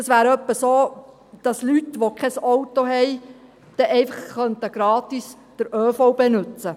Das wäre etwa so, als könnten Leute, die kein Auto haben, dann einfach gratis den ÖV nutzen.